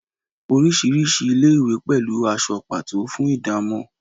orisirisi ilé-ìwé pẹlú aṣọ pato fún ìdámò